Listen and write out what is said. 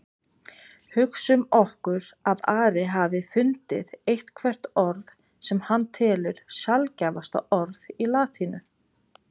Hugsum okkur að Ari hafi fundið eitthvert orð sem hann telur sjaldgæfasta orð í latínu.